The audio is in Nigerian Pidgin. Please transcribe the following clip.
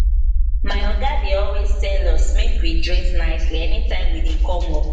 my oga dey always tell us make we dress nicely anytime we dey come work